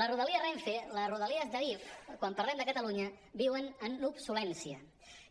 les rodalies renfe les rodalies d’adif quan parlem de catalunya viuen en l’obsolescència